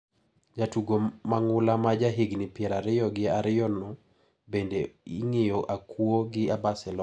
Jatugo mang`ula ma ja higni pier ariyo gi ariyono bende ing`iyo akuo gi Barcelona.